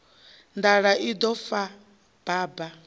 nḓala u ḓo fa baba